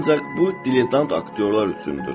Ancaq bu diletant aktyorlar üçündür.